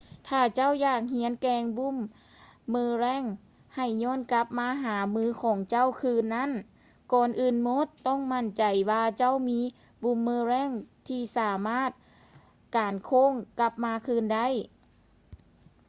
ຖ້າເຈົ້າຢາກຮຽນແກ່ວງບູມເມີແຣງ ໃຫ້ຢ້ອນກັບມາຫາມືຂອງເຈົ້າຄືນນັ້ນ ກ່ອນອື່ນໝົດຕ້ອງໝັ້ນໃຈວ່າເຈົ້າມີບູມເມີແຣງທີ່ສາມາດການໂຄ້ງກັບມາຄືນໄດ້